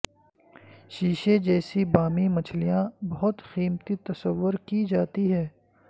شیشے جیسی بامی مچھلیاں بہت قیمتی تصور کی جاتی ہیں